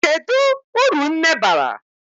Kedu uru nne bara?